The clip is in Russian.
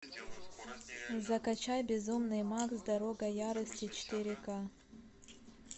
закачай безумный макс дорога ярости четыре ка